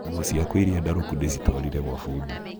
nguo ciakwa ĩrĩa ndarũku ndĩcitwarire gwa bundi.